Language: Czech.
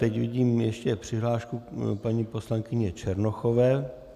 Teď vidím ještě přihlášku paní poslankyně Černochové.